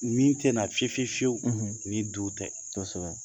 Min tɛna fiyewu fiyewu fiyewu ni du tɛ, kosɛbɛ